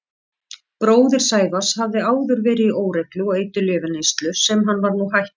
Bróðir Sævars hafði áður verið í óreglu og eiturlyfjaneyslu sem hann var nú hættur.